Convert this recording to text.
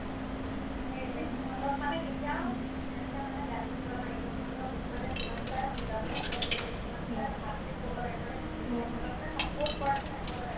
অ, সেইটোয়ে সিহঁতক মানে কেতিয়াও এনেকে মানে গালি দিব নালাগে সিহঁতক মানে যিমান পাৰে বুজাবলেহে try কৰিব লাগে যিমান পাৰে ভালকে ক'ব লাগে মানে যিমান পাৰে সিহঁতক মানে support কৰাৰ নিচিনাকে কৰিব লাগে